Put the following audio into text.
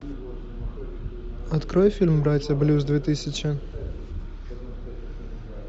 открой фильм братья блюз две тысячи